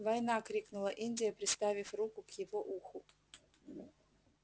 война крикнула индия приставив руку к его уху